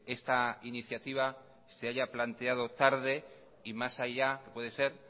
esta iniciativa se haya planteado tarde y más allá puede ser